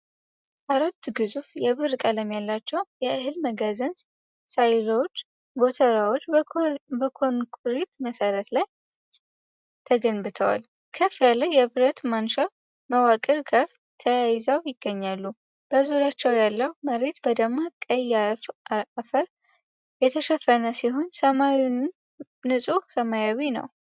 አራት ግዙፍ የብር ቀለም ያላቸው የእህል መጋዘን ሳይሎዎች (ጎተራዎች) በኮንክሪት መሠረት ላይ ተገንብተዋል። ከፍ ያለ የብረት ማንሻ መዋቅር ጋር ተያይዘው ይገኛሉ። በዙሪያቸው ያለው መሬት በደማቅ ቀይ ዐፈር የተሸፈነ ሲሆን፤ ሰማዩም ንፁህ ሰማያዊ ነው።